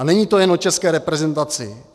A není to jen o české reprezentaci.